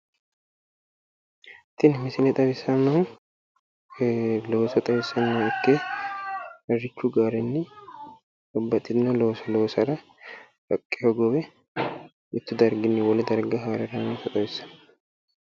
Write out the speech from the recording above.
Tini misile xawissannohu looso xawissanno ikke harrichu gaarenni babbaxxitino loosa loosara haqqe hogowe mittu darginni wole darga haare haraatta xawissanno.